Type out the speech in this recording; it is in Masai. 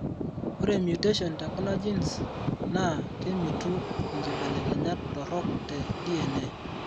ore mutation tekuna genes naa kemitu inkibelekenyat torok te DNA.